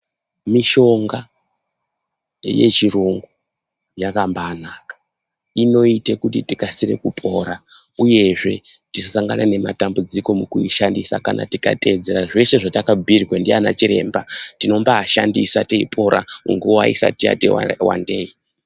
Mishonga yechirungu yakambai naka inoite kuti tinokasire kupora, uyezve tisasangana nematambudziko mu kuishandisa, kana tikateedzera zveshe zvataka bhuyirwe ngaana chiremba tinombayi pora, nguwa isati yati wandei.